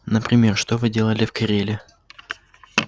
например что вы делали в кореле